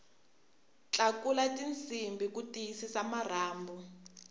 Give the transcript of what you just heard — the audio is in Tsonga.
tlakula tinsimbhi ku tiyisisa marhambu